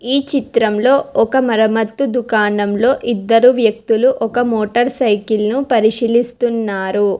ఈ చిత్రంలో ఒక మరమత్తు దుకాణంలో ఇద్దరు వ్యక్తులు ఒక మోటార్ సైకిల్ ను పరిశీలిస్తున్నారు.